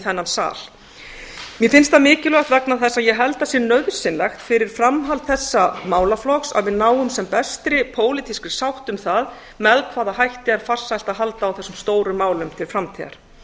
þennan sal mér finnst það mikilvægt vegna þess að ég held að sé nauðsynlegt fyrir framhald þessa málaflokks að við náum sem bestri pólitískri sátt um það með hvaða hætti er farsælt að halda á þessum stóru málum til framtíðar